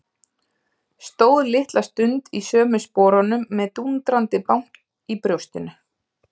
Stóð litla stund í sömu sporunum með dúndrandi bank í brjóstinu.